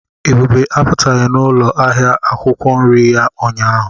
Ebube apụtaghị n'ụlọ ahịa akwụkwọ nri ya ụnyahụ.